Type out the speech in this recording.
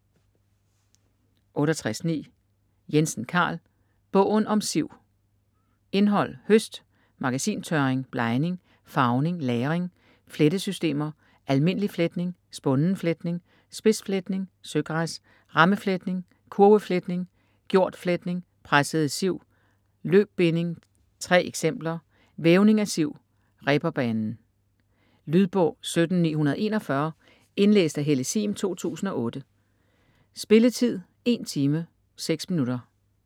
68.9 Jensen, Carl: Bogen om siv Indhold: Høst; Magasintørring; Blegning, farvning, lagring; Flettesystemer; Almindelig fletning; Spunden fletning; Spidsfletning; Søgræs; Rammefletning; Kurvefletning; Gjordfletning; Pressede siv; Løbbinding; Tre eksempler; Vævning af siv; Reberbanen. Lydbog 17941 Indlæst af Helle Sihm, 2008. Spilletid: 1 time, 6 minutter.